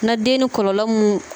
Na den ni kɔlɔlɔ mun.